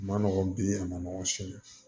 Ma nɔgɔn bi a ma nɔgɔn sini